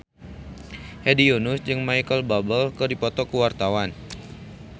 Hedi Yunus jeung Micheal Bubble keur dipoto ku wartawan